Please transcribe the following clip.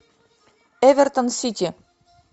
эвертон сити